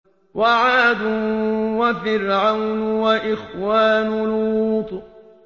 وَعَادٌ وَفِرْعَوْنُ وَإِخْوَانُ لُوطٍ